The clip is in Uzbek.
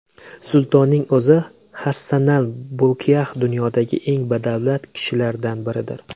Sultonning o‘zi Hassanal Bolkiax dunyodagi eng badavlat kishilardan biridir.